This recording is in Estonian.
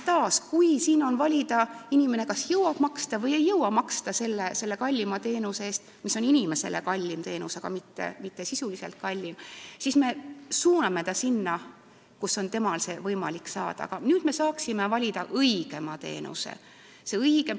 Taas, kui on küsimus, kas inimene jõuab maksta kallima teenuse eest – see teenus on inimesele kallim, aga mitte sisuliselt kallim –, siis praegu me suuname ta sinna, kus tal on seda võimalik saada, aga siis me saaksime valida õigema teenuse.